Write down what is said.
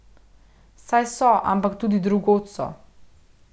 Saj so, ampak tudi drugod so.